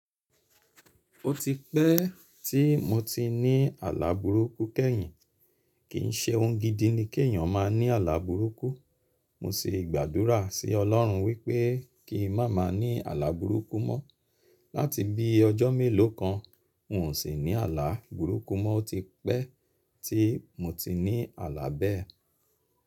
Ó ti pẹ́ tí mo ti ní àlà burúkú kẹ́yìn, kì ń ṣe ohun gidi ni kí èeyàn máa ní àlà burúkú. Mo sì gbàdúrà sí Olọ́run wípé kí n máa má ní àlà burúkú mọ. Látì bí i ọjọ́ mélòó kan, n ò sì ní àlà burúkú mọ. O ti pẹ́ tí mo ti ní àlà bẹ́ẹ̀.